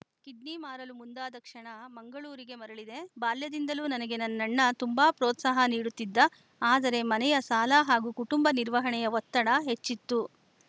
kidney ಮಾರಲು ಮುಂದಾದ ಕ್ಷಣ ಮಂಗಳೂರಿಗೆ ಮರಳಿದೆ ಬಾಲ್ಯದಿಂದಲೂ ನನಗೆ ನನ್ನಣ್ಣ ತುಂಬಾ ಪ್ರೋತ್ಸಾಹ ನೀಡುತ್ತಿದ್ದ ಆದರೆ ಮನೆಯ ಸಾಲ ಹಾಗೂ ಕುಟುಂಬ ನಿರ್ವಹಣೆಯ ಒತ್ತಡ ಹೆಚ್ಚಿತ್ತು